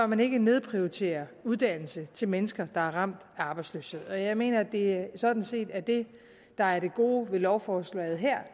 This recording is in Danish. man ikke nedprioritere uddannelse til mennesker der er ramt af arbejdsløshed og jeg mener at det sådan set er det der er det gode ved lovforslaget her